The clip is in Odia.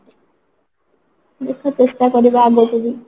ଦେଖ ଚେଷ୍ଟା କରିବା ଆଗକୁ ବି